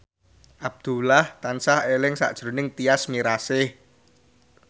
Abdullah tansah eling sakjroning Tyas Mirasih